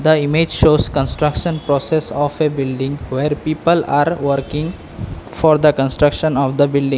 the image shows construction process of a building where people are working for the construction of the building.